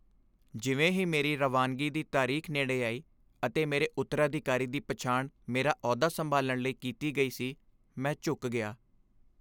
ਜਿਵੇਂ ਹੀ ਮੇਰੀ ਰਵਾਨਗੀ ਦੀ ਤਾਰੀਖ਼ ਨੇੜੇ ਆਈ ਅਤੇ ਮੇਰੇ ਉੱਤਰਾਅਧਿਕਾਰੀ ਦੀ ਪਛਾਣ ਮੇਰਾ ਅਹੁਦਾ ਸੰਭਾਲਣ ਲਈ ਕੀਤੀ ਗਈ ਸੀ, ਮੈਂ ਝੁਕ ਗਿਆ।